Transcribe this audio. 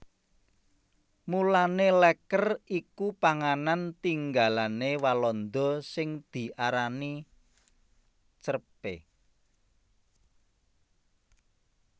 Mulané lèker iku panganan tinggalané Walanda sing diarani crêpe